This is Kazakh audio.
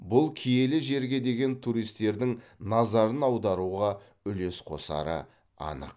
бұл киелі жерге деген туристердің назарын аударуға үлес қосары анық